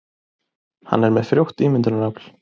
Hann er með frjótt ímyndunarafl.